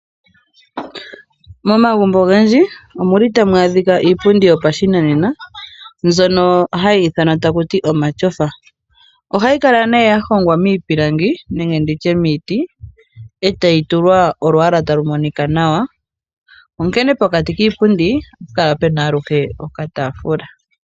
Momagumbo ogendji omuli tamu adhika iipundi yopashinanena mbyono hayi ithanwa ta kuti omatyofa. ohayi kala ne yahongwa miipilangi nenge nditye miiti etayi tulwa olwaala talu monika nawa. Onkene pokati kiipundi ohapu kala pena aluhe okatafula.